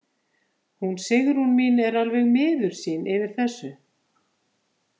Hún Sigrún mín er alveg miður sín yfir þessu.